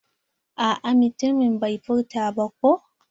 A'a mutumin bai furta ba ko.